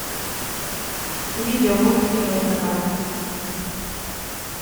видео мультики майнкрафт